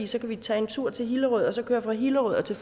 så kan vi tage en tur til hillerød og så køre fra hillerød til